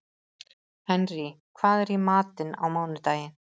Henrý, hvað er í matinn á mánudaginn?